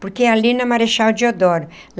Porque é ali na Marechal de Odoro.